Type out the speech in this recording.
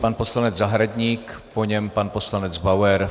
Pan poslanec Zahradník, po něm pan poslanec Bauer.